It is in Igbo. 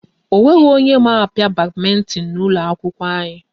Ọ nweghị onye ma a pịa badmintin n'ụlọ akwụkwọ anyị